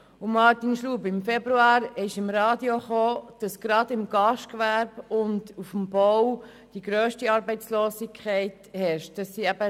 Zu Martin Schlup: Im Februar war im Radio zu hören, dass die grösste Arbeitslosigkeit gerade im Gastgewerbe und auf dem Bau herrscht.